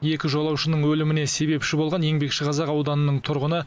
екі жолаушының өліміне себепші болған еңбекшіқазақ ауданының тұрғыны